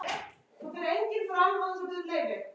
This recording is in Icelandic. Vakinn eða sofinn.